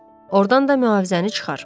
Ordan da mühafizəni çıxar.